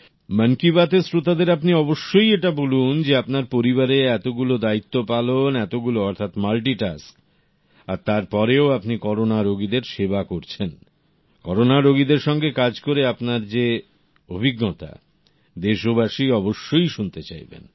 মন কি বাত র শ্রোতাদের আপনি অবশ্যই এটা বলুন যে আপনার পরিবারে এতগুলো দায়িত্ব পালন এতগুলো অর্থাৎ মাল্টি টাস্ক আর তার পরেও আপনি করোনা রোগীদের সেবা করছেন করোনা রোগীদের সঙ্গে কাজ করে আপনার যে অভিজ্ঞতা দেশবাসী অবশ্যই শুনতে চাইবেন